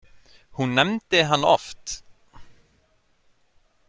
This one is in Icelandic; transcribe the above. Hún nefndi hann oft.